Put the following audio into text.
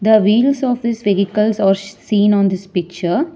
The wheels of the vehicles are seen on this picture.